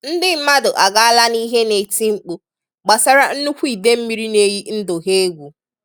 ndì mmadụ agàlà n'ìhè na-ètí mkpù gbasàrà nnukwu idemmírì na-èyí ndụ ha ègwu.